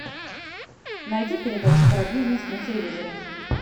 найди передачу про бизнес на телевизоре